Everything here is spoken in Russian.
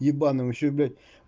ебанный он ещё и блять